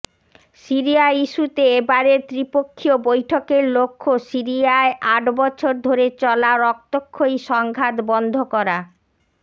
Syria ইস্যুতে এবারের ত্রিপক্ষীয় বৈঠকের লক্ষ্য সিরিয়ায় আট বছর ধরে চলা রক্তক্ষয়ী সংঘাত বন্ধ করা